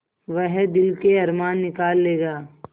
वह दिल के अरमान निकाल लेगा